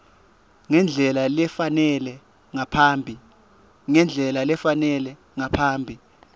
ngendlela lefanele ngaphambi